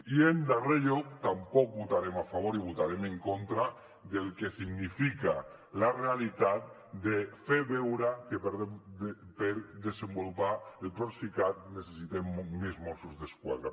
i en darrer lloc tampoc votarem a favor i votarem en contra del que significa la realitat de fer veure que per desenvolupar el procicat necessitem més mossos d’esquadra